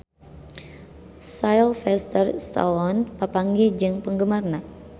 Sylvester Stallone papanggih jeung penggemarna